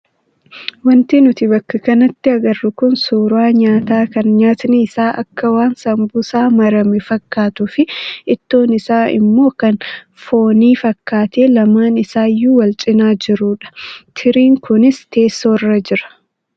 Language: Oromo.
Wanti nuti bakka kanatti agarru kun suuraa nyaataa kan nyaatni isaa akka waan saambusaa marame fakkaatuu fi ittoon isaa immoo kan foonii fakkaatee lamaan isaayyuu wal cinaa jirudha. Tiriin kunis teessoorra jira.